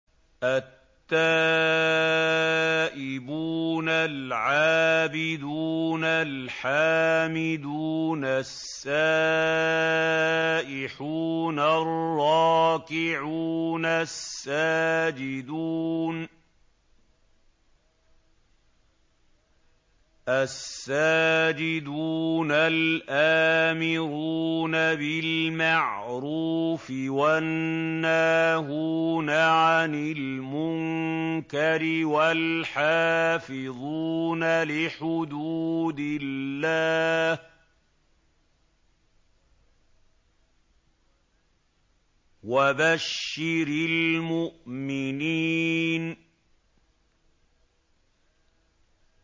التَّائِبُونَ الْعَابِدُونَ الْحَامِدُونَ السَّائِحُونَ الرَّاكِعُونَ السَّاجِدُونَ الْآمِرُونَ بِالْمَعْرُوفِ وَالنَّاهُونَ عَنِ الْمُنكَرِ وَالْحَافِظُونَ لِحُدُودِ اللَّهِ ۗ وَبَشِّرِ الْمُؤْمِنِينَ